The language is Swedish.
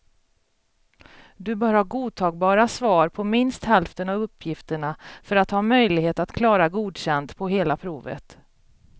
Du bör ha godtagbara svar på minst hälften av uppgifterna för att ha möjlighet att klara godkänd på hela provet.